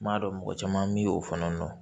N m'a dɔn mɔgɔ caman bɛ o fana dɔn